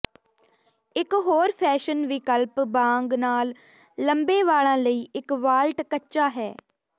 ਇਕ ਹੋਰ ਫੈਸ਼ਨ ਵਿਕਲਪ ਬਾਂਗ ਨਾਲ ਲੰਬੇ ਵਾਲਾਂ ਲਈ ਇਕ ਵਾਲਟ ਕੱਚਾ ਹੈ